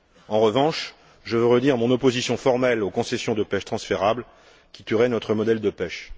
En revanche, je veux redire mon opposition formelle aux concessions de pêche transférables qui tueraient notre modèle de pêche.